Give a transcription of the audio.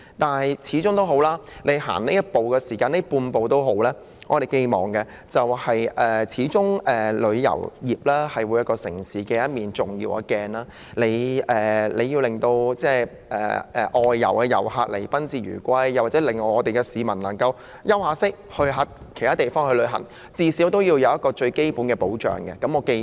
不過，無論如何，那管是一小步或半步，畢竟旅遊業是一個城市的重要鏡子，必須讓來港旅客有賓至如歸的感覺，並最少可以令往外地旅行稍作休息的市民獲得最基本的保障。